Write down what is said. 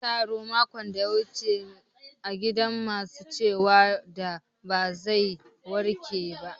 Makon da ya gabata munyi taro a gidan masu ciwon da ba zai warke ba